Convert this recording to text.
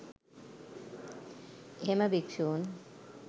එහෙම භික්ෂූන්